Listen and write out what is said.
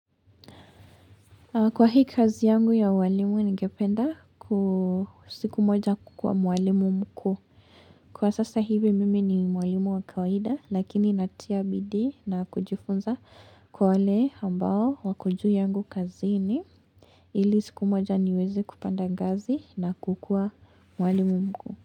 Kwa hii kazi yangu ya uwalimu ningependa siku moja kukua uwalimu mkuu. Kwa sasa hivi mimi ni mwalimu wa kawida lakini natia bidii na kujifunza kwa wale ambao wako juu yangu kazini. Ili siku moja niwezi kupanda ngazi na kukua mwalimu mkuu.